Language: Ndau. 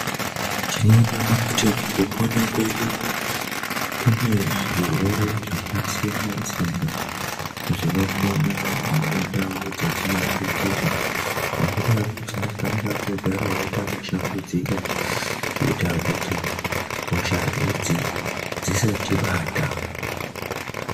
Tinoda kuti mukupona kwedu kune zvirwere zvakasiyana-siyana, zvinopona mundau dzetinenge tiri nekudaro tinofanira kugaravo takashambidzika. Kuita kuti hosha idzi dzisatibata.